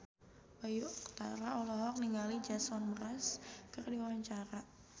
Bayu Octara olohok ningali Jason Mraz keur diwawancara